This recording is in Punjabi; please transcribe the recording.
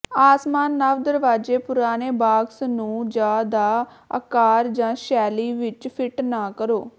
ਆਸਮਾਨ ਨਵ ਦਰਵਾਜ਼ੇ ਪੁਰਾਣੇ ਬਾਕਸ ਨੂੰ ਜ ਦਾ ਆਕਾਰ ਜ ਸ਼ੈਲੀ ਵਿੱਚ ਫਿੱਟ ਨਾ ਕਰੋ